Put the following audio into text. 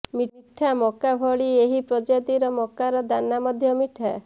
ମିଠା ମକା ଭଳି ଏହି ପ୍ରଜାତିର ମକାର ଦାନା ମଧ୍ୟ ମିଠା